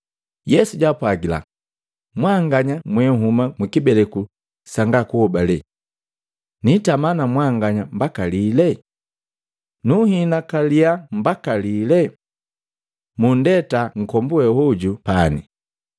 Yesu jaapwagila, “Mwanganya mwenhuma mukibeleku sanga kuhobale! Nitama na mwanganya mbaka lile? Nunhinakaliya mbaka lile? Munndeta nkombu we oju pani!”